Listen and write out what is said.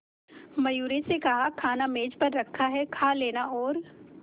मयूरी से कहा खाना मेज पर रखा है कहा लेना और